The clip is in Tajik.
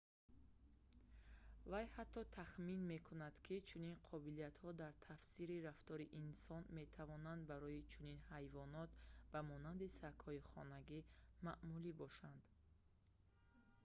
вай ҳатто тахмин мекунад ки чунин қобилиятҳо дар тафсири рафтори инсон метавонанд барои чунин ҳайвонот ба монанди сагҳои хонагӣ маъмулӣ бошанд